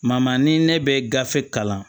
ni ne bɛ gafe kalan